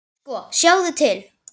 Sko, sjáðu til.